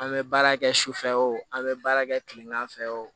An bɛ baara kɛ sufɛ o an bɛ baara kɛ kilegan fɛ o